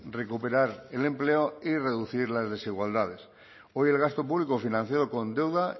recuperar el empleo y reducir las desigualdades hoy el gasto público financiado con deuda